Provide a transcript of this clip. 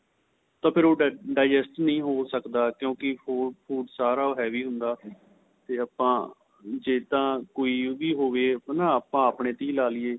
ਤਾਂ ਉਹ digest ਨਹੀਂ ਹੋ ਸਕਦਾ ਕਿਉਂਕਿ ਹੋਰ food ਸਾਰਾ heavy ਹੁੰਦਾ ਤੇ ਆਪਾ ਜ਼ੇ ਤਾਂ ਕੋਈ ਉਹਦੀ ਹੋਵੇ ਹੈਨਾ ਆਪਾ ਆਪਣੇਂ ਤੇ ਹੀ ਲਾਲੀਏ